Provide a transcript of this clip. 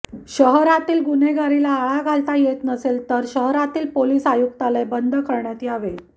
शहरातील गुन्हेगारीला आळा घालता येत नसेल तर शहरातील पोलीस आयुक्तालय बंद करण्यात यावे